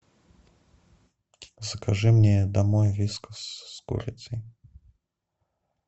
закажи мне домой вискас с курицей